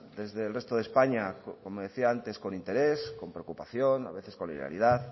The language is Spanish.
desde el resto de españa como decía antes con interés con preocupación a veces con hilaridad